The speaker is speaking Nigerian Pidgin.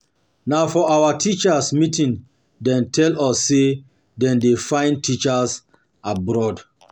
Na for our teachers' meeting dem tell us sey dem dey find teachers abroad.